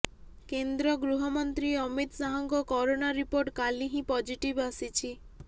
କେନ୍ଦ୍ର ଗୃହ ମନ୍ତ୍ରୀ ଅମିତ ଶାହଙ୍କ କରୋନା ରିପୋର୍ଟ କାଲି ହିଁ ପଜିଟିଭ ଆସିଛି